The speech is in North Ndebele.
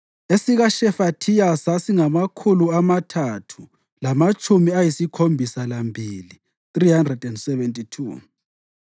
esikaShefathiya sasingamakhulu amathathu lamatshumi ayisikhombisa lambili (372),